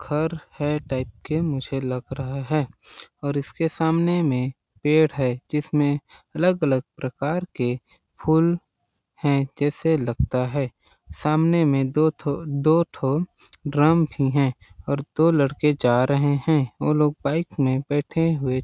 घर है टाइप के मुझे लग रहा है और इसके सामने में पेड़ है जिसमें अलग-अलग प्रकार के फूल हैं जैसे लगता है सामने में दो ठो दो ठो ड्रम भी हैं और दो लड़के जा रहे हैं वो लोग बाइक में बैठे हुए हैं।